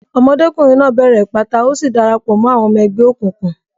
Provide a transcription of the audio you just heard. Ọmọdékùnrin náà bẹ̀rẹ̀ ìpátá, ó sì dara pọ̀ mọ́ àwọn ọmọ ẹgbẹ́ òkùnkùn.